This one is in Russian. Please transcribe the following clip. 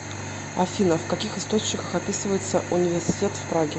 афина в каких источниках описывается университет в праге